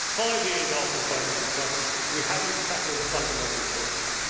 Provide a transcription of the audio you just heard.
Five years after the financial crisis we have not tackled the fundamental problems.